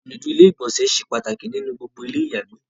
ìnùdí ilé ìgbọ̀nsẹ̀ se pàtàkì ní gbogbo ilé ìyàgbè